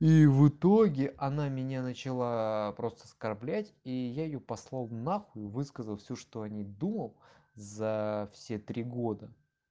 и в итоге она меня начала просто оскорблять и я её послал нахуй высказал всё что о ней думал за все три года